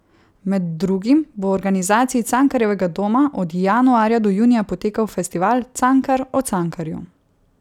Med drugim bo v organizaciji Cankarjevega doma od januarja do junija potekal festival Cankar o Cankarju.